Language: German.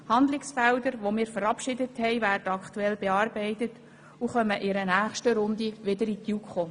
Die Handlungsfelder, die wir verabschiedet haben, werden aktuell bearbeitet und kommen in einer nächsten Runde wieder in die JuKo.